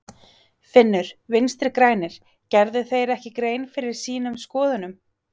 Finnur: Vinstri-grænir, gerðu þeir ekki grein fyrir sínum skoðunum?